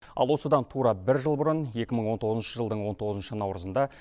ал осыдан тура бір жыл бұрын екі мың он тоғызыншы жылдың он тоғызыншы наурызында